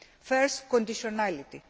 First, conditionality.